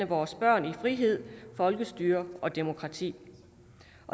vores børn i frihed folkestyre og demokrati